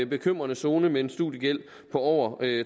bekymrende zone med en studiegæld på over